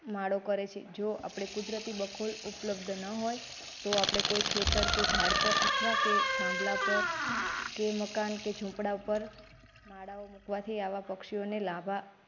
માળો કરે છે જો આપડે કુદરતી બખોલ ઉપલબ્ધ ન હોય તો આપડે કોઈ ખેતર કે ઝાડ પર અથવા કે થાંભલા પર કે મકાન કે ઝુંપડા પર માળાઓ મુકવાથી આવા પક્ષીઓને લાભા.